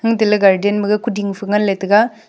garden maga kuding phangan taga.